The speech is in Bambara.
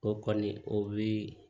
O kɔni o bi